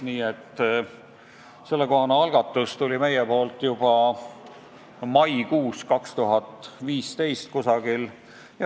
Nii et sellekohane algatus tuli meilt juba 2015. aasta maikuus.